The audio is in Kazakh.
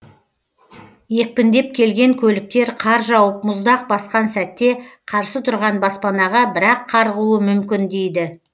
екпіндеп келген көліктер қар жауып мұздақ басқан сәтте қарсы тұрған баспанаға бір ақ қарғуы мүмкін дейді